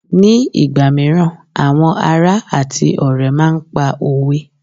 ní ìgbà míràn àwọn ará ati ọrẹ ma n pa òwe